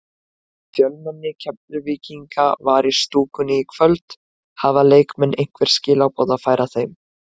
Fjölmenni Keflvíkinga var í stúkunni í kvöld, hafa leikmenn einhver skilaboð að færa þeim?